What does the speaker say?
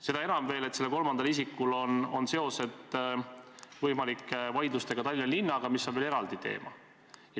Seda enam, et sellel kolmandal isikul on seosed võimalike vaidlustega Tallinna linnaga, mis on veel eraldi teema.